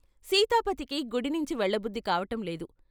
సీతాపతికి గుడినించి వెళ్ళబుద్ధి కావటంలేదు.